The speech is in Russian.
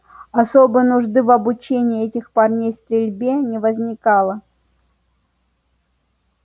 особой нужды в обучении этих парней стрельбе не возникало